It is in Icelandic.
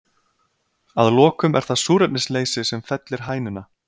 Að lokum er það súrefnisleysi sem fellir hænuna.